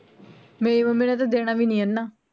ਮੇਰੀ ਮਮੀ ਨੇ ਤਾ ਦੇਣਾ ਵੀ ਨੀ ਏਨਾਂ